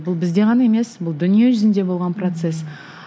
бұл бізде ғана емес бұл дүние жүзінде болған процесс